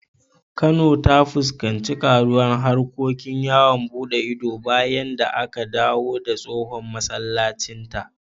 Kano ta fuskanci karuwar harkokin yawon buɗe ido bayan da aka dawo da tsohon masallacinta.